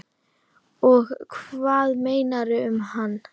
Og hvað meira um hana?